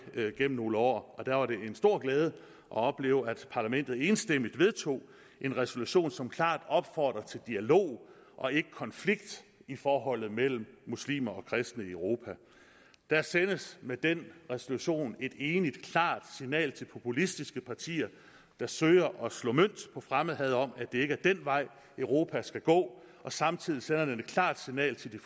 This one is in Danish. gennem nogle år og der var det en stor glæde at opleve at parlamentet enstemmigt vedtog en resolution som klart opfordrer til dialog og ikke konflikt i forholdet mellem muslimer og kristne i europa der sendes med den resolution et enigt klart signal til populistiske partier der søger at slå mønt på fremmedhad om at det ikke er den vej europa skal gå og samtidig sender den et klart signal til